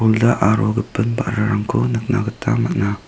olda aro gipin ba·rarangko nikna gita man·a.